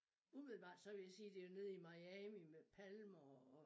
Umiddelbart så vil jeg sige det var nede i Miami med palmer og